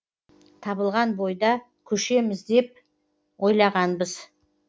табылған бойда көшеміз деп ойлағанбыз